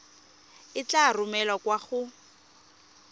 e tla romelwa kwa go